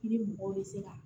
I ni mɔgɔw bɛ se ka